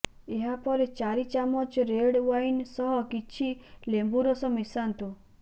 ଏହାପରେ ଚାରି ଚାମଚ ରେଡ୍ ୱାଇନ୍ ସହ କିଛି ଲେମ୍ୱୁ ରସ ମିଶାନ୍ତୁ